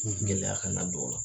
Gɛlɛya kana don a la